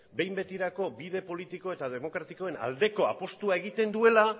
behin betirako bide politiko eta demokratikoen aldeko apustua egiten duela